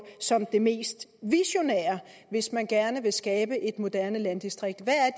som det mest visionære hvis man gerne vil skabe et moderne landdistrikt hvad er